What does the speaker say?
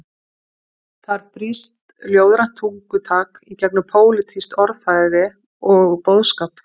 Þar brýst ljóðrænt tungutak í gegnum pólitískt orðfæri og boðskap.